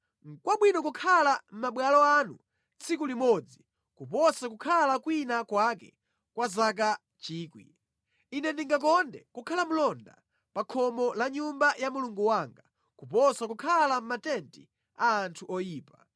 Nʼkwabwino kukhala mʼmabwalo anu tsiku limodzi kuposa kukhala kwina kwake kwa zaka 1,000; Ine ndingakonde kukhala mlonda wa pa khomo la Nyumba ya Mulungu wanga kuposa kukhala mʼmatenti a anthu oyipa.